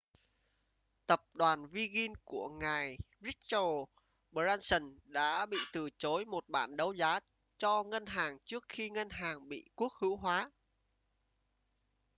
tập đoàn virgin của ngài richard branson đã bị từ chối một bản đấu giá cho ngân hàng trước khi ngân hàng bị quốc hữu hóa